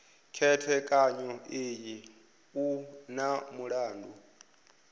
khethekanyo iyi u na mulandu